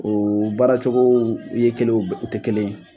O baaracogow ye kelen ye u tɛ kelen ye!